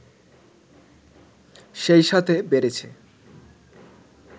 সেই সাথে বেড়েছে